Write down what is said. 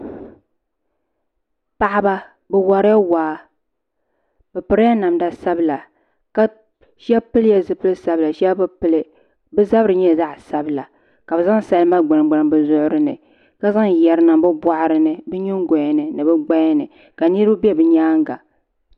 Paɣaba bi worila waa bi pirila namda sabila shab pilila zipili sabila shab bi pili bi zabiri nyɛla zaɣ sabila ka bi zaŋ salima gbuni gbuni bi zuɣuri ni ka zaŋ yɛri n niŋ bi boɣari ni bi nyingoya ni ni bi gbaya ni ka niraba bɛ bi nyaanga